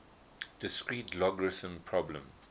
discrete logarithm problem